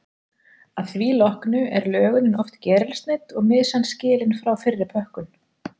Að því loknu er lögunin oft gerilsneydd og mysan skilin frá fyrir pökkun.